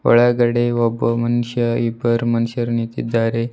ಒಳಗಡೆ ಒಬ್ಬ ಮನ್ಶ ಇಬ್ಬರು ಮನ್ಶ್ಯರು ನಿಂತಿದ್ದಾರೆ.